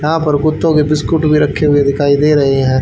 यहां पर कुत्तों के बिस्किट भी रखे हुए दिखाई दे रहे हैं।